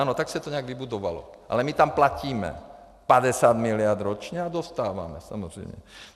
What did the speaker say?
Ano, tak se to nějak vybudovalo, ale my tam platíme 50 miliard ročně a dostáváme, samozřejmě.